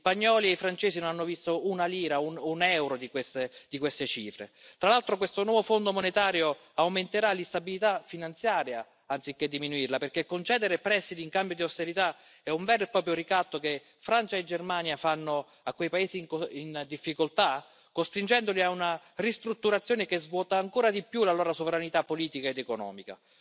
Gli spagnoli e i francesi non hanno visto un euro di queste cifre. Tra l'altro, questo nuovo Fondo monetario aumenterà l'instabilità finanziaria, anziché diminuirla, perché concedere prestiti in cambio di austerità è un vero e proprio ricatto, che Francia e Germania fanno ai paesi in difficoltà, costringendoli ad una ristrutturazione che svuota ancora di più la loro sovranità politica ed economica.